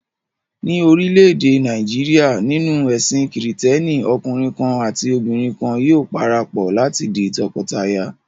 Ní orílẹ̀-èdè Nàìjíríà, nínú ẹ̀sìn Kìrìtẹ́ẹ́nì, ọkùnrin kan àti obìnrin kan yóò para pọ̀ láti di tọkọtaya.